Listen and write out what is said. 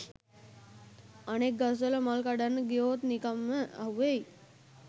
අනෙක් ගස්වල මල් කඩන්න ගියොත් නිකංම අහුවෙයි